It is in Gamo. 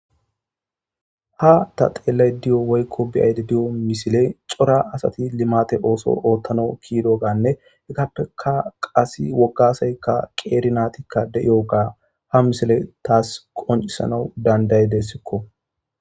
Ha ta xeellay di'o woykko biyayde di'o misile cora asati limate ooso oothtano kiido gaanne hekappeka qasi woggasaykka qeeri naatikka de'iyo gaa ha misile taas qoncisana danday dessikko.